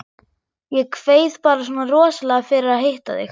Ég kveið bara svona rosalega fyrir að hitta þig.